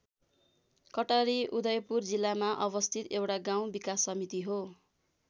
कटारी उदयपुर जिल्लामा अवस्थित एउटा गाउँ विकास समिति हो।